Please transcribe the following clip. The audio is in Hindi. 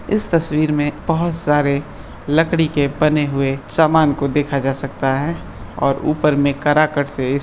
इस तस्वीर में बहुत सारे लकड़ी के बने हुए समान को देखा जा सकता है और ऊपर में काराकाट से इस --